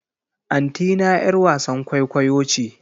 Antina 'yar wasan kwaikwayo ce.